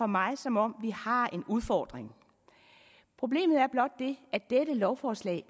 mig som om vi har en udfordring problemet er blot det at dette lovforslag